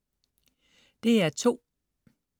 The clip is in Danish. DR2: